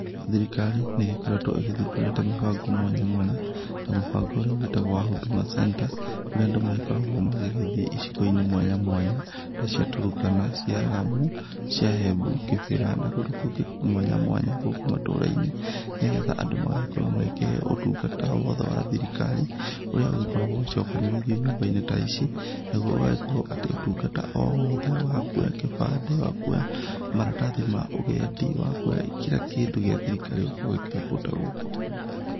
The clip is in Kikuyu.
Thirikari nĩ igĩkoretwo ĩgĩthũndũrĩte mĩbango mwanya mwanya, ta mũbango ũrĩa ũgĩtagwo wa Huduma center, kũrĩa andũ magĩkoragwo magĩgĩthiĩ icigo-inĩ mwanya mwanya, ta cia Turkana , cia ramu ,cia Embu ,kĩbĩra na kũndũ mwanya mwanya gũkũ matũra-inĩ, nĩgetha andũ magagĩkorwo magĩkĩheo ũtungata wothe wa thirikari, ũrĩa ũkoragwo ũcokanĩrĩirio nyũmba-inĩ ta ici, nagũo ũgakorwo atĩ ũtungata o wothe wa kuoya gĩbande wa kuoya maratathi ma ũgendi wa kuoya kira kĩndũ gĩa thirikari ũgakorwo ũkĩoya kũndũ ta gũkũ.